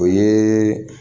O ye